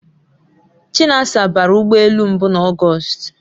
Chinasa bara ụgbọ elu mbu na August